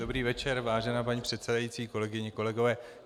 Dobrý večer, vážená paní předsedající, kolegyně, kolegové.